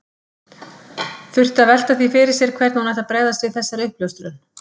Þurfti að velta því fyrir sér hvernig hún ætti að bregðast við þessari uppljóstrun.